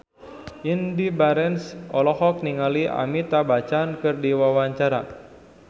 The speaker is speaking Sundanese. Indy Barens olohok ningali Amitabh Bachchan keur diwawancara